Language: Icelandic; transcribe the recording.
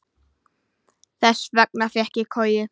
Þess vegna fékk ég koju.